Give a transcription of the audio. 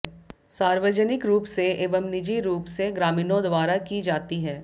सार्वजनिक रूप से एवं निजी रूप से ग्रामीणों द्वारा की जाती है